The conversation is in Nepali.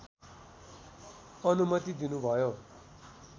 अनुमति दिनुभयो